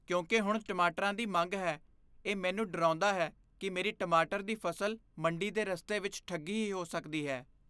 ਕਿਉਂਕਿ ਹੁਣ ਟਮਾਟਰਾਂ ਦੀ ਮੰਗ ਹੈ, ਇਹ ਮੈਨੂੰ ਡਰਾਉਂਦਾ ਹੈ ਕਿ ਮੇਰੀ ਟਮਾਟਰ ਦੀ ਫ਼ਸਲ ਮੰਡੀ ਦੇ ਰਸਤੇ ਵਿੱਚ ਠੱਗੀ ਹੀ ਹੋ ਸਕਦੀ ਹੈ।